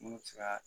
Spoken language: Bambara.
Munnu be se ka